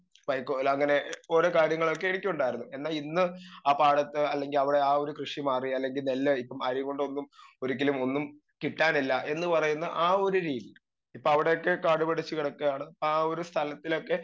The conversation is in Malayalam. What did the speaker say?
സ്പീക്കർ 2 വൈക്കോലങ്ങനെ ഓരോ കാര്യങ്ങളൊക്കെ എനിക്കുണ്ടാർന്നു എന്നാ ഇന്ന് ആ പാടത്ത് അല്ലെങ്കി അവടെ ആ ഒരു കൃഷി മാറി അല്ലെങ്കി നെല്ലായി ഇപ്പം അരീങ്കോണ്ടൊന്നും ഒരിക്കലും ഒന്നും കിട്ടാനില്ല എന്ന് പറയുന്ന ആ ഒരു രീതി ഇപ്പൊ അവിടെയൊക്കെ കാട് പിടിച്ച്‌ കിടക്കാണ് ആ ഒരു സ്ഥലത്തിലൊക്കെ